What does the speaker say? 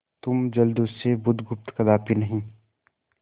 तुम जलदस्यु बुधगुप्त कदापि नहीं